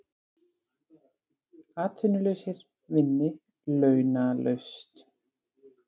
Atvinnulausir vinni launalaust